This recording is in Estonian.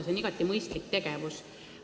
See on igati mõistlik tegevus.